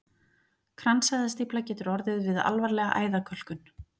Kransæðastífla getur orðið við alvarlega æðakölkun.